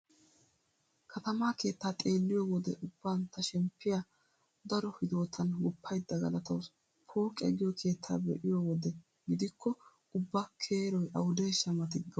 Katamaa keettaa xeelliyo wode ubban ta shemppiya daro hidootan guppaydda galatawusu. Pooqiya giyo keettaa be'iyo wode gidikko ubba keeroy awudeeshsha mati gawusu.